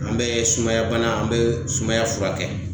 An be sumaya bana, an be sumaya furakɛ.